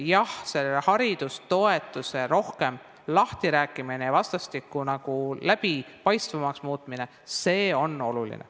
Jah, haridustoetuse rohkem lahtirääkimine ja vastastikku läbipaistvamaks muutmine on oluline.